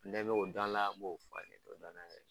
Ne bɛ o dɔn a la n b'o